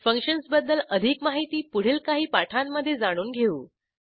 फंक्शन्सबद्दल अधिक माहिती पुढील काही पाठांमधे जाणून घेऊ